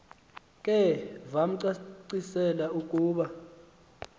ke vamcacisela ukuba